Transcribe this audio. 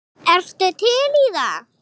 Skoraði hann ekki tvö mörk?